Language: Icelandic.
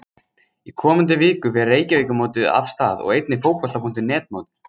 Í komandi viku fer Reykjavíkurmótið af stað og einnig Fótbolta.net mótið.